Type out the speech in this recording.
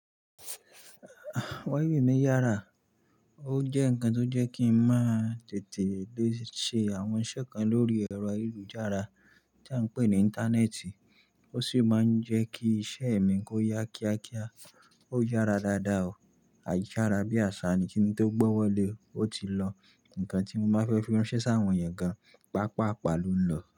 Wa ì wi mi yára, ó jẹ́ ǹkan tó jẹ́ kí ń máa tètè lè ṣe àwọn iṣẹ́ kan lórí ẹ̀rọ ìlú-jára tí à ń pè ní Íńtánẹ́ẹ̀tì, ó sì máa ń jẹ́ kí iṣẹ́ mi kó yá kíákíá. Ó yára dáadáa o. A yára bí àṣá ni kí n tó gbọ́wọ́lé ó ti lọ. Ǹkan tí mo máa fẹ́ fi ránṣẹ́ sí àwọn èèyàn gan, pàápàá palú lọ.